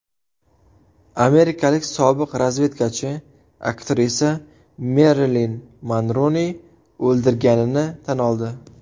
Amerikalik sobiq razvedkachi aktrisa Merilin Monroni o‘ldirganini tan oldi.